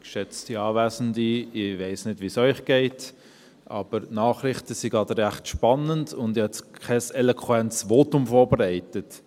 Ich weiss nicht, wie es Ihnen geht, aber die Nachrichten sind gerade recht spannend, und ich habe jetzt kein eloquentes Votum vorbereitet.